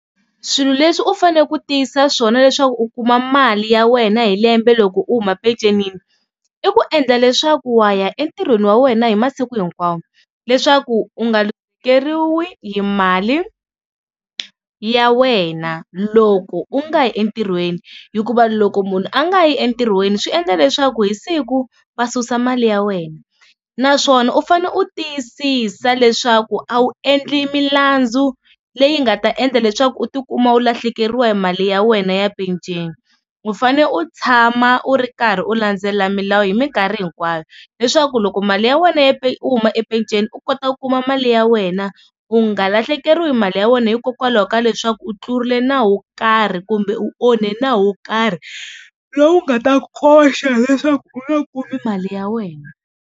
Swilo leswi u fanele ku tiyisa swona leswaku u kuma mali ya wena hi lembe loko u huma pecenini i ku endla leswaku wa ya entirhweni wa wena hi masiku hinkwawo, leswaku u nga hi mali ya wena loko u nga yi entirhweni. Hikuva loko munhu a nga yi entirhweni swi endla leswaku hi siku va susa mali ya wena, naswona u fanele u tiyisisa leswaku a wu endli milandzu leyi nga ta endla leswaku u tikuma u lahlekeriwa hi mali ya wena ya penceni. U fane u tshama u ri karhi u landzelela milawu hi minkarhi hinkwayo leswaku loko mali ya wena ya u huma e peceni u kota ku kuma mali ya wena u nga lahlekeriwa hi mali ya wena hikokwalaho ka leswaku u tlurile nawu wo karhi kumbe u onhe nawu wo karhi lowu nga ta ku koxa leswaku u nga kumi mali ya wena.